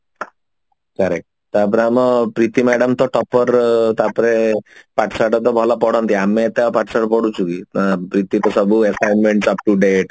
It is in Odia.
correct ତାପରେ ଆମ ପ୍ରୀତି madam ତ topper ତାପରେ ପାଠ ଶାଠ ତ ଭଲ ପଢନ୍ତି ଆମେ ତ ପାଠ ଶାଠ ପଢୁଛୁ କି ନା ପ୍ରୀତି ତ ସବୁ assignment up-to-date